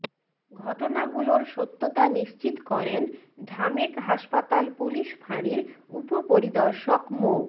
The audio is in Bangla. ঘটনাগুলোর সত্যতা নিশ্চিত করেন ঢামেক হাসপাতাল পুলিশ ফাঁড়ির উপপরিদর্শক মো